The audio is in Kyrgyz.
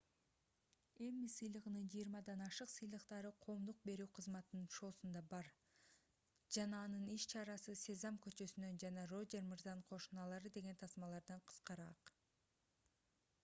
эмми сыйлыгынын жыйырмадан ашык сыйлыктары коомдук берүү кызматынын шоусунда бар жана анын иш-чарасы сезам көчөсүнөн жана рожер мырзанын кошуналары деген тасмалардан кыскараак